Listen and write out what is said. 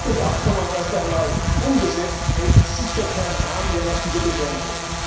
Ist das Abkommen erst einmal umgesetzt, kräht sicher kein Hahn mehr nach dieser Beschränkung.